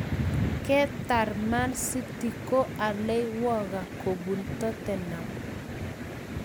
Katar man city ko alei walker ko bun toten ham